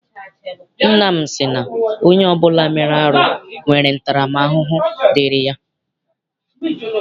Nna m sị na onye ọbụla mere arụ nwere ntara m ahụhụ dịịrị ya.